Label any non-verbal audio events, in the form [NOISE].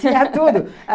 Tinha tudo! [LAUGHS]